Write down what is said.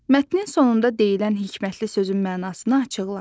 Mətnin sonunda deyilən hikmətli sözün mənasını açıqla.